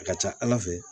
A ka ca ala fɛ